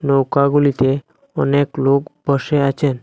নৌকা গুলিতে অনেক লোক বসে আছেন।